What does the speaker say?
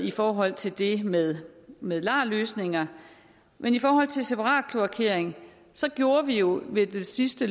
i forhold til det med med lar løsninger men i forhold til separatkloakering gjorde vi jo ved den sidste